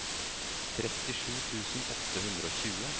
trettisju tusen åtte hundre og tjue